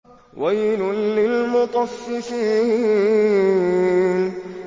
وَيْلٌ لِّلْمُطَفِّفِينَ